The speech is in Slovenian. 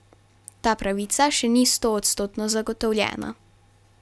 Ta pravica še ni stoodstotno zagotovljena.